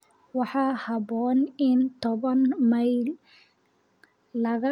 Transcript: waxaa haboon in toban mayl laga wado halkan si loo badbaadiyo lacagta gaaska